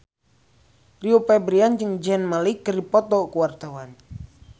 Rio Febrian jeung Zayn Malik keur dipoto ku wartawan